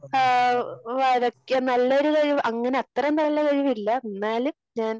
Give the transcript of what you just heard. ഏഹ് വരക്ക നല്ലൊരു കഴിവ് അങ്ങനെ അത്രേം നല്ല കഴിവില്ല, എന്നാലും ഞാൻ